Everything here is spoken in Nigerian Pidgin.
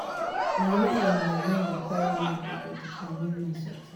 na where um my mind dey carry me go go determine my success.